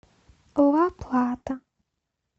ла плата